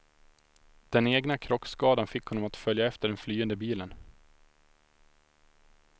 Den egna krockskadan fick honom att följa efter den flyende bilen.